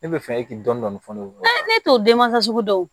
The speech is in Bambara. Ne bɛ fɛ e k'i dɔn dɔn fɔ ne ɲɛna ne t'o denmasa sugu dɔw